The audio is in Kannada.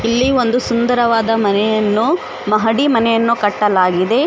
ಇಲ್ಲಿ ಒಂದು ಸುಂದರವಾದ ಮನೆಯನ್ನು ಮಹಡಿ ಮನೆಯನ್ನು ಕಟ್ಟಲಾಗಿದೆ.